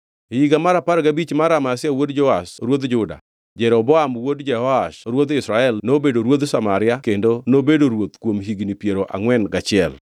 E higa mar apar gabich mar Amazia wuod Joash ruodh Juda, Jeroboam wuod Jehoash ruodh Israel nobedo ruodh Samaria kendo nobedo ruoth kuom higni piero angʼwen gachiel.